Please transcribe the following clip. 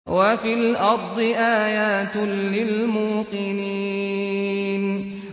وَفِي الْأَرْضِ آيَاتٌ لِّلْمُوقِنِينَ